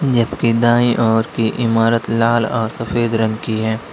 जबकि दाएं ओर की इमारत लाल और सफेद रंग की है।